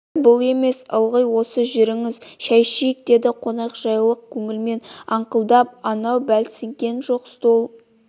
бір бұл емес ылғи осы жүріңіз шай ішейік деді қонақжай көңілмен аңқылдап анау бәлсінген жоқ стол